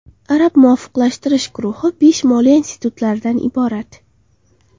Arab muvofiqlashtirish guruhi besh moliya institutlaridan iborat.